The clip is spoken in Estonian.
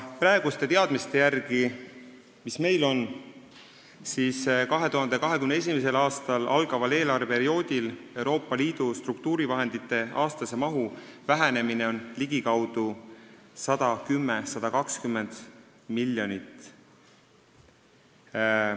Praeguste teadmiste järgi, mis meil on, väheneb 2021. aastal algaval eelarveperioodil Euroopa Liidu struktuurivahendite aastane maht 110–120 miljonit.